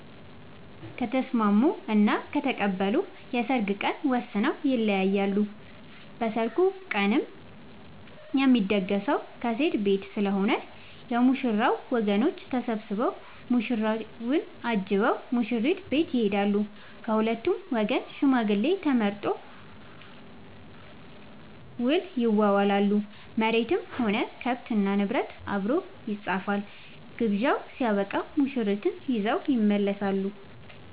ከተስምስሙ እና ከተቀበሉ የሰርግ ቀን ወስነው ይለያያሉ። በሰርጉ ቀንም የሚደገሰው ከሴት ቤት ስለሆነ የ ሙሽራው ወገኖች ተሰብስቧ ሙሽራውን አጅበው ሙሽሪት ቤት ይሄዳሉ። ከሁለቱም ወገን ሽማግሌ ተመርጦ ውል ይዋዋላሉ መሬትም ሆነ ከብት እና ንብረት አብሮ ይፃፋል። ግብዣው ስበቃም ሙሽርትን ይዘው ይመለሳሉ።